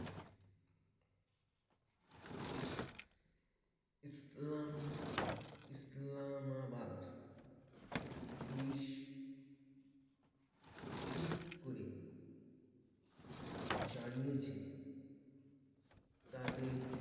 ইসলাম Islamabad Police Tweet করে জানিয়ে ছে তাদের